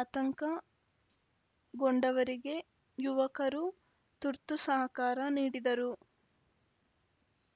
ಆತಂಕಗೊಂಡವರಿಗೆ ಯುವಕರು ತುರ್ತು ಸಹಕಾರ ನೀಡಿದರು